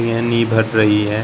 यहां नि भर रही है।